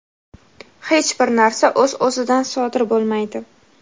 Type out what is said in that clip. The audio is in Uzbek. hech bir narsa o‘z-o‘zidan sodir bo‘lmaydi.